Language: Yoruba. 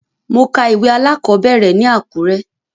Mo ka ìwé alákọ̀ọ́bẹ̀rẹ̀ ní Àkúrẹ́.